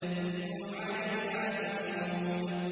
إِذْ هُمْ عَلَيْهَا قُعُودٌ